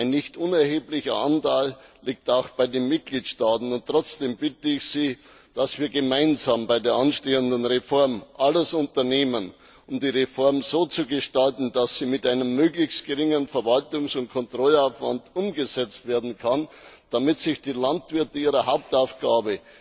Ein nicht unerheblicher Anteil der Verantwortung liegt auch bei den Mitgliedstaaten, und deshalb bitte ich Sie, dass wir gemeinsam bei der anstehenden Reform alles unternehmen, um die Reform so zu gestalten, dass sie mit einem möglichst geringen Verwaltungs und Kontrollaufwand umgesetzt werden kann, damit sich die Landwirte ihrer Hauptaufgabe,